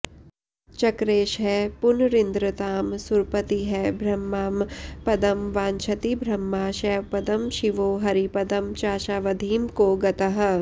चक्रेशः पुनरिन्द्रतां सुरपतिः ब्राह्मं पदं वाञ्छति ब्रह्मा शैवपदं शिवो हरिपदं चाशावधिं को गतः